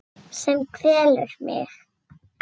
Sem kvelur mig.